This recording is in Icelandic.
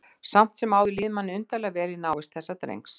Samt sem áður líður manni undarlega vel í návist þessa drengs.